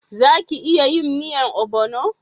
Za ki iya yin miyan obono?